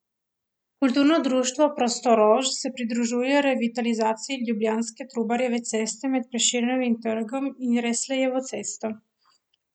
Kulturno društvo prostoRož se pridružuje revitalizaciji ljubljanske Trubarjeve ceste med Prešernovim trgom in Resljevo cesto.